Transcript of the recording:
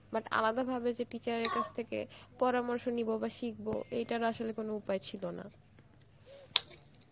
but আলাদা ভাবে যে teacher এর কাছ থেকে পরামর্শ নিব বা শিকব, এইটার আসলে কোনো উপায় ছিল না